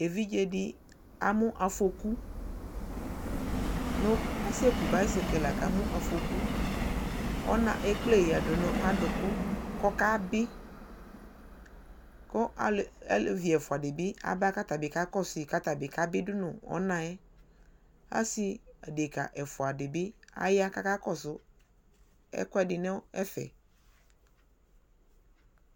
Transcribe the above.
Evidze dι amʋ afɔku nʋ asɛkʋ baisɛkɛl la kʋ amu afɔku Ɔna ekpla ladʋ nʋ aduku kʋ ɔkabi kʋ ale alevi ɛfua di bi aba kɔ atabi kakɔsɔyi atabi kabi dʋ nʋ ɔna yɛ Asi adika ɛfua di bi aya kakakɔsu ɛkʋɛdi nʋ ɛfɛ